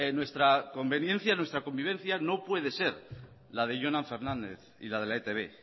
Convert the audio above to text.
nuestra conveniencia nuestra convivencia no puede ser la de jonan fernández y la de la etb